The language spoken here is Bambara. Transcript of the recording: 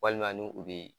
Walima ni u bɛ